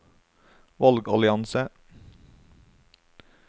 valgallianse